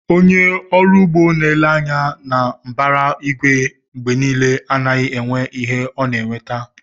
Onye ọrụ ugbo na-ele anya na mbara igwe mgbe niile, agaghị enwe ihe ọ ga-eweta